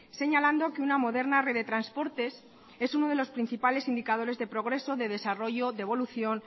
señalando que una moderna red de transportes es uno de los principales indicadores de progreso de desarrollo de evolución